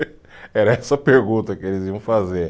Era essa a pergunta que eles iam fazer.